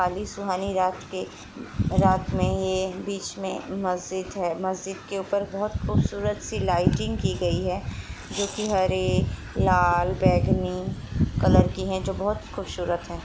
काली सुहानी रात के रात में ये बीच में मस्जिद हैं मस्जिद के ऊपर बहोत खूबसूरत सी लाइटिंग की हैं जो हरे लाल बैगनी कलर की हैं जो कि बहोत खूबसूरत हैं।